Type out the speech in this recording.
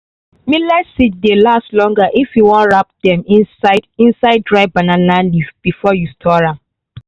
millet seeds dey last longer if you wan wrap dem inside inside dry banana leaf before you store am.